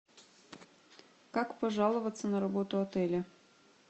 как пожаловаться на работу отеля